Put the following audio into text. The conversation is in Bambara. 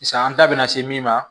Sisan an ta bɛna se min ma